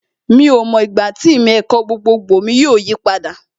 Mi ò mọ ìgbà tí ìmọ̀ ẹ̀kọ́ gbogbogbò mi yóò yí padà